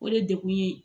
O de degun ye